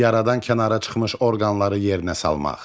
Yaradan kənara çıxmış orqanları yerinə salmaq.